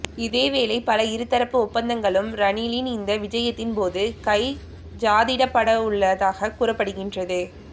இதேவேளை பல இருதரப்பு ஒப்பந்தங்களும் ரணிலின் இந்த விஜயத்தின் போது கைச்சாதிடப்படவுள்ளதாக கூறப்படுகின்றது